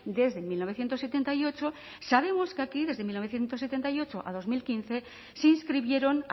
desde mil novecientos setenta y ocho sabemos que aquí desde mil novecientos setenta y ocho a dos mil quince se inscribieron